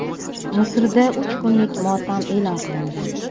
Misrda uch kunlik motam e’lon qilindi.